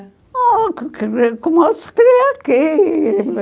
Ah, como se cria aqui.